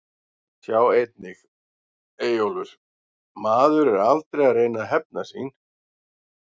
Sjá einnig: Eyjólfur: Maður er aldrei að reyna að hefna sín